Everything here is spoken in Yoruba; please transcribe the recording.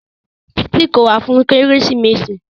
Títí kò wá fún kérésìmesì.